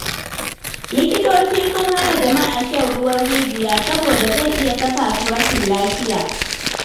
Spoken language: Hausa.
Likitoci sun hana jama'a shan ruwan rijiya saboda zai iya saka su rashin lafiya.